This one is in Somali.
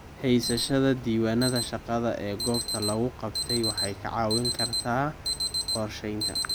Haysashada diiwaannada shaqada ee goobta lagu qabtay waxay kaa caawin kartaa qorsheynta.